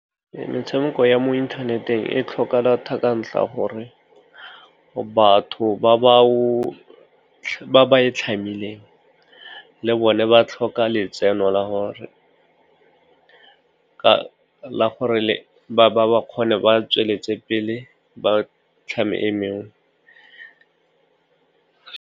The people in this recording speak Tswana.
Metshameko ya mo inthaneteng e tlhoka data ka ntlha gore batho ba ba e tlhamileng le bone ba tlhoka letseno ka gore ba kgone ba tsweletse pele ba tlhama e meng.